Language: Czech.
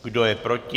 Kdo je proti?